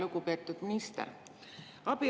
Lugupeetud minister!